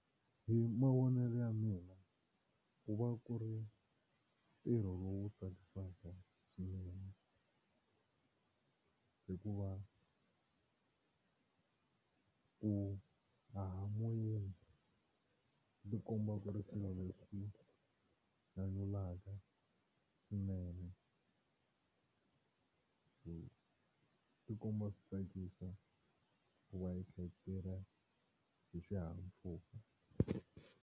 Hi mavonelo ya mina ku va ku ri ntirho lowu tsakisaka swinene hikuva ku haha moyeni tikomba ku ri swilo leswi nyanyulaka swinene so swi tikomba swi tsakisa ku i kha i tirha hi xihahampfhuka.